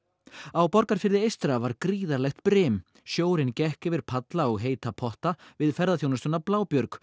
á Borgarfirði eystra var gríðarlegt brim sjórinn gekk yfir palla og heita potta við ferðaþjónustuna